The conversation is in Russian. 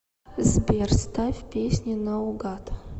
сбер ставь песни на угад